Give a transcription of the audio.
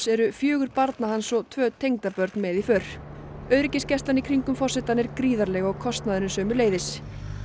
eru fjögur barna hans og tvö tengdabörn með í för öryggisgæslan í kringum forsetann er gríðarleg og kostnaðurinn sömuleiðis